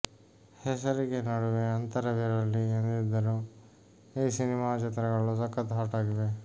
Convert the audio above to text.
ಹೆಸರಿಗೆ ನಡುವೆ ಅಂತರವಿರಲಿ ಎಂದಿದ್ದರೂ ಈ ಸಿನಿಮಾ ಚಿತ್ರಗಳು ಸಖತ್ ಹಾಟ್ ಆಗಿವೆ